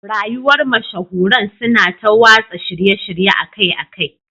Rayuwar mashahuran suna ta watsa shirye-shirye akai-akai